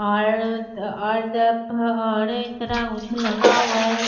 इतना कुछ लगा हुआ है इसमें।